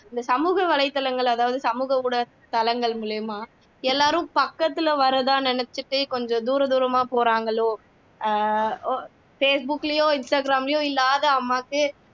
இந்த சமூக வலைத்தளங்கள் அதாவது சமூக ஊடக தளங்கள் மூலமா எல்லாரும் பக்கத்துல வரதா நினைச்சுட்டு கொஞ்ச தூர தூரமா போறாங்களோ ஆஹ் facebook லயோ instagram லயோ இல்லாத அம்மாக்கு